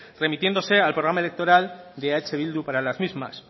remitiéndose al programa electoral de eh bildu para las mismas